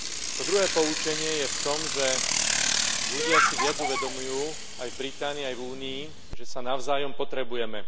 To druhé poučenie je v tom, že ľudia si viac uvedomujú aj v Británii, aj v Únii, že sa navzájom potrebujeme.